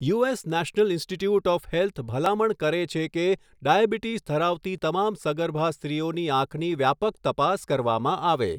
US national institute of health ભલામણ કરે છે કે ડાયાબિટીસ ધરાવતી તમામ સગર્ભા સ્ત્રીઓની આંખની વ્યાપક તપાસ કરવામાં આવે.